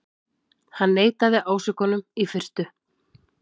Hann neitaði ásökunum í fyrstu